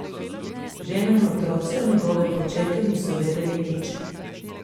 Žena in otroci o njegovem početju niso vedeli nič.